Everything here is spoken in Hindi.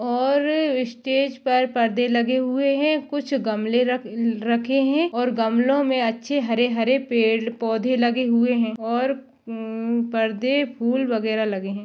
और स्टेज पर परदे लगे हुए है कुछ गमले रख रखे है और गमलो मे अच्छे हरे-हरे पेड़-पौधे लगे हुए है और म परदे फुल वगेरा लगे है।